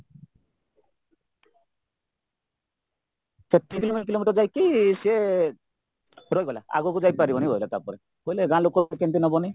ତିନି କିଲୋମିଟର ଯାଇକି ସିଏ ରହିଗଲା ଆଗକୁ ଯାଇପାରିବନି କହିଲା ତାପରେ କହିଲେ ଗାଁଲୋକ କେମିତି ନବନି